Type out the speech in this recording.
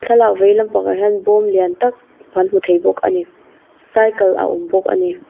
thlalak vei lampangah hian bawm lian tak kan hmu thei bawk a ni saikal a awm bawk a ni.